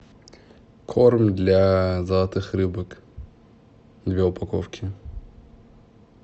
корм для золотых рыбок две упаковки